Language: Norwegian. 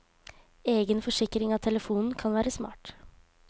Egen forsikring av telefonen kan være smart.